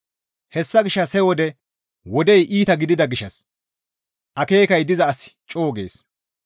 Hessa gishshas he wode wodey iita gidida gishshas akeekay diza asi co7u gees.